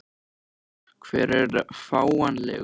Hver er fáanlegur?